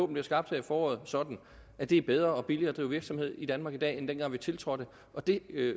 bliver skabt her i foråret sådan at det er bedre og billigere at drive virksomhed i danmark i dag end dengang vi tiltrådte det